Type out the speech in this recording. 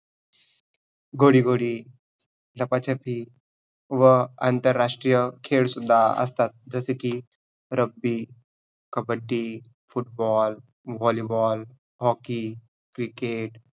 घोडी घोडी, लपाछपी व आंतरराष्ट्रीय खेळ सुद्धा असतात, जसे की रब्बी, कबड्डी, football, hollyball, hocky, cricket